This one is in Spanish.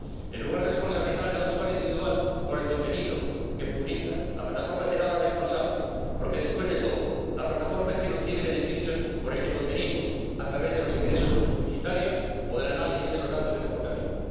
En lugar de responsabilizar a cada usuario individual por el contenido que publica, la plataforma será la responsable, porque después de todo, la plataforma es quien obtiene beneficios por este contenido a través de los ingresos publicitarios o del análisis de los datos de comportamiento.